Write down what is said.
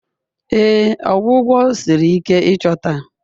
Ee, ọgwụgwọ siri ike ịchọta